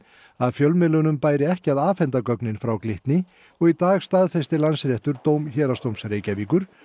að fjölmiðlunum bæri ekki að afhenda gögn frá Glitni og í dag staðfesti Landsréttur dóm Héraðsdóms Reykjavíkur